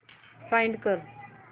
find कर